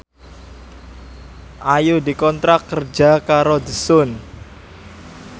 Ayu dikontrak kerja karo The Sun